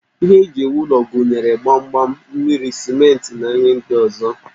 Ihe eji ewu ụlọ gụnyere gbamgbam, mmiri, simenti, na ihe ndị ọzọ